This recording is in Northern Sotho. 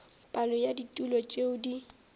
palo ya ditulo tšeo di